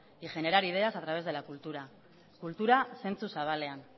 y generar ideas a través de la cultura kultura zentzu zabalean